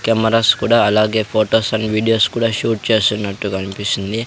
Cameras కూడా అలాగే photos and videos కూడా షూట్ చేస్తున్నట్టు గన్పిస్తుంది.